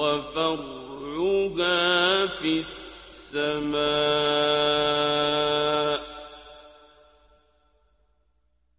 وَفَرْعُهَا فِي السَّمَاءِ